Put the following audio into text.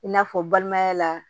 I n'a fɔ balimaya la